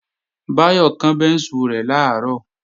Báyọ̀ kán bẹ́ńsù rẹ̀ làárọ̀